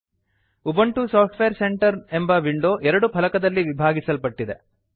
Ubuntu software centre ಎಂಬ window ಎರಡು ಫಲಕಗಳಲ್ಲಿ ವಿಭಾಗಿಸಲ್ಪಟ್ಟಿದೆ